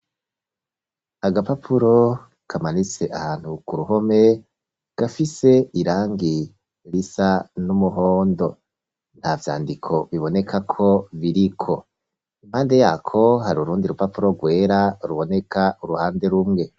Agapapuro kamanitse ahantu kuruhome gafise irangi risa n’umuhondo, nta vyandiko bibonekako biriko, impande yako hari urundi rupapuro rwera ruboneka uruhande rumwe.